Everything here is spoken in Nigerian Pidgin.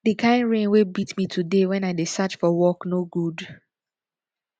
the kin rain wey beat me today wen i dey search for work no good